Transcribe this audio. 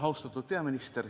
Austatud peaminister!